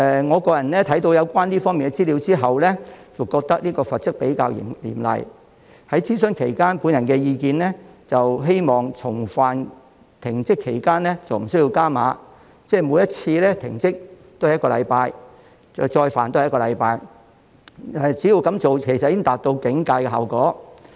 我在看過有關資料後，個人認為罰則比較嚴厲，在諮詢期間，我的意見是重犯期間停職罰則無需加碼，即是每一次停職都是1星期，重犯也是1星期，這樣其實已達到警戒效果。